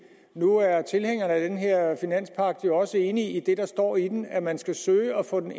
nu er tilhængerne af den her finanspagt jo også enige i det der står i den nemlig at man skal søge at få den